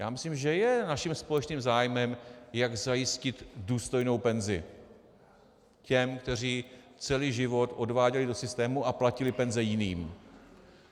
Já myslím, že je naším společným zájmem, jak zajistit důstojnou penzi těm, kteří celý život odváděli do systému a platili penze jiným.